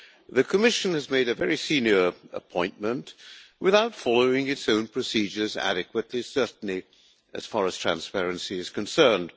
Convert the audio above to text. The Commission has made a very senior appointment without following its own procedures adequately, certainly as far as transparency is concerned.